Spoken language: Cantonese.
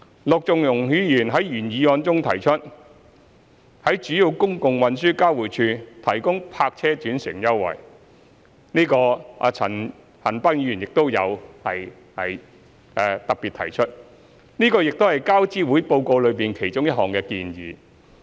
陸頌雄議員在原議案中提出在主要公共運輸交匯處提供泊車轉乘優惠，陳恒鑌議員亦有特別提出，這亦是交諮會報告的其中一項建議。